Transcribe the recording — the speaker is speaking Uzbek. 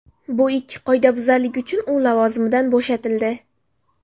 Bu ikki qoidabuzarlik uchun u lavozimidan bo‘shatildi”.